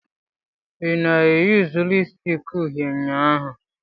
Ị na-eyuzu lipusticki uhie ụnyaahụ?